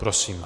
Prosím.